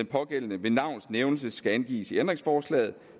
pågældende ved navns nævnelse skal angives i ændringsforslaget og